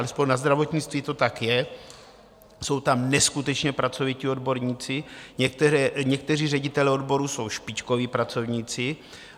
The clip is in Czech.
Alespoň na zdravotnictví to tak je, jsou tam neskutečně pracovití odborníci, někteří ředitelé odborů jsou špičkoví pracovníci.